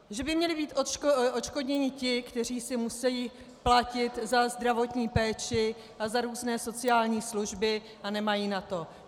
Že by měli být odškodněni ti, kteří si musí platit za zdravotní péči a za různé sociální služby, a nemají na to.